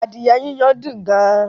Adìẹ yiyan dùn gan